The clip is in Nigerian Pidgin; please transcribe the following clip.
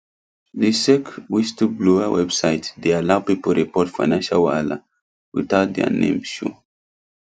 the sec whistleblower website dey allow people report financial wahala without their name show